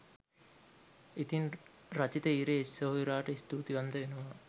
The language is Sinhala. ඉතිං රචිත ඉරේෂ් සෙහොයුරාට ස්තූතිවන්ත වෙනවා